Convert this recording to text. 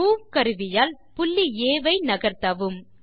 move கருவியால் புள்ளி ஆ ஐ நகர்த்தவும்